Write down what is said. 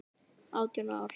Átján ár.